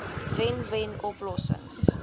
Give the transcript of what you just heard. wen wen oplossings